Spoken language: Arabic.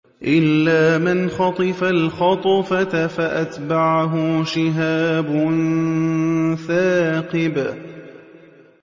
إِلَّا مَنْ خَطِفَ الْخَطْفَةَ فَأَتْبَعَهُ شِهَابٌ ثَاقِبٌ